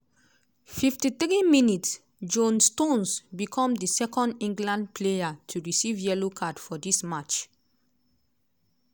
53 mins - jone stones become di second england player to receive yellow card for dis match.